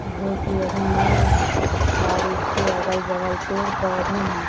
जो की अभी न्यू है और उसके अगल-बगल पेड़-पौधे हैं।